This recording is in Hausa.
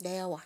da yawa.